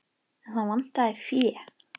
En þá vantaði fé.